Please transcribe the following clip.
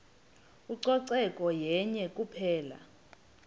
ucoceko yenye kuphela